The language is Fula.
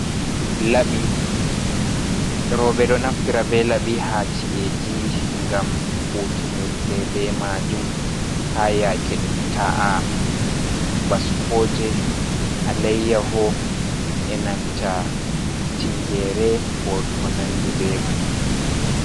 Rooɓe ɗo naftira be laɓi ha ci’eji ngam hutunirke be majum ha yaake ɗum ta’a baskoje alayyaho enanta tingere ko nandi be man.